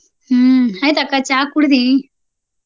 ಹ್ಮ ಆಯ್ತ ಅಕ್ಕ ಚಾ ಕುಡದಿ?